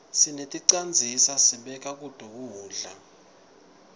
seneticandzisa sibeka kuto kudla